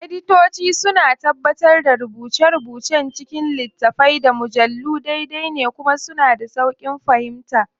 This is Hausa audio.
Editoci suna tabbatar da rubuce-rubucen cikin littattafai, da mujallu daidai ne kuma suna da sauƙin fahimta.